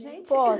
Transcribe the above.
Gente